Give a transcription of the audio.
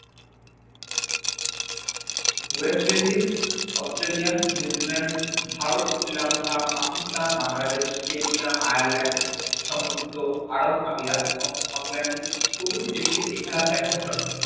West এন্দিজ অস্ত্রেলিয়ান New Zealand Bharat শ্রিলঙ্কা Pakistan বাংলাদেশকে নিয়ে আয়ালান্দ সংযুক্ত আরও প্রভৃতি দেশে এ খেলা ব্যাপজ্যনক